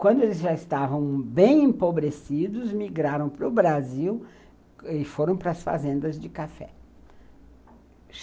Quando eles já estavam bem empobrecidos, migraram para o Brasil e foram para as fazendas de café.